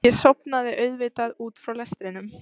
Ég sofnaði auðvitað út frá lestrinum.